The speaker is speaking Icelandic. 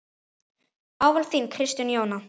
Ávallt þín, Kristín Jóna.